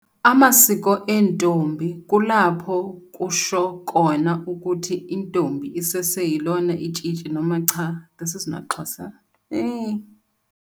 ama siko entombi kulapho kusho kona ukuthi intombi isese yilona itshitshi noma cha! This is not Xhosa.